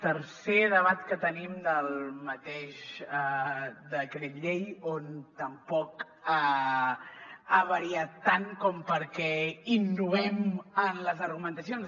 tercer debat que tenim del mateix decret llei que tampoc ha variat tant com perquè innovem en les argumentacions